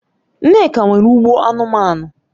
Nneka nwere ugbo anumanu